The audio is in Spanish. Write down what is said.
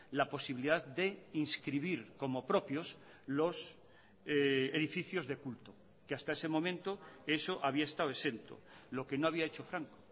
la posibilidad de inscribir como propios los edificios de culto que hasta ese momento eso había estado exento lo que no había hecho franco